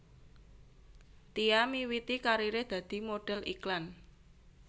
Tia miwiti kariré dadi modhél iklan